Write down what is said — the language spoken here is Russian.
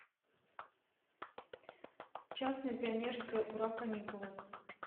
честное пионерское ура каникулы